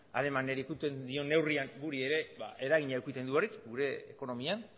alemaniari ukitzen dion neurrian gugan ere eragina edukitzen du horrek gure ekonomian